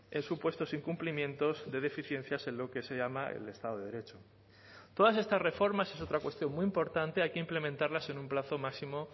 en supuestos incumplimientos de deficiencias en lo que se llama el estado de derecho todas estas reformas es otra cuestión muy importante hay que implementarlas en un plazo máximo